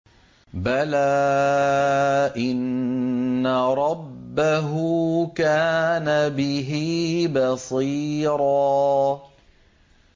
بَلَىٰ إِنَّ رَبَّهُ كَانَ بِهِ بَصِيرًا